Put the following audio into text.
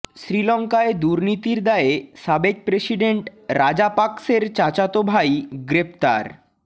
শ্রীলঙ্কায় দুর্নীতির দায়ে সাবেক প্রেসিডেন্ট রাজাপাকসের চাচাতো ভাই গ্রেফতার